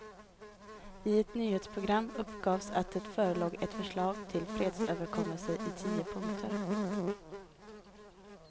I ett nyhetsprogram uppgavs att det förelåg ett förslag till fredsöverenskommelse i tio punkter.